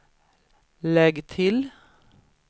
lägg till